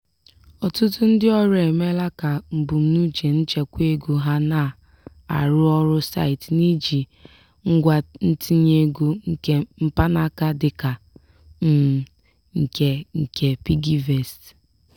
ọtụtụ ndị ọrụ emeela ka mbunuche nchekwa ego ha na-arụ ọrụ site n'iji ngwa ntinye ego nke mpanaka dịka um nke nke piggyvest.